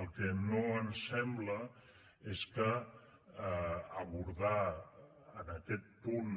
el que no ens sembla és que abordar en aquest punt